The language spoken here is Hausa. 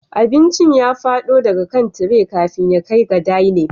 Abincin ya fado daga kan tire kafin ya kai ga dining